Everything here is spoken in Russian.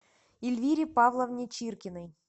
ильвире павловне чиркиной